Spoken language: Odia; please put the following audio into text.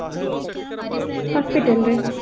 hospital ରେ